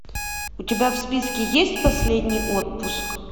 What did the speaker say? у тебя в списке есть последний отпуск